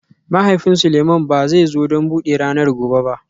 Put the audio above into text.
Mahaifin Seleimans ba zai zo don buɗe ranar gobe ba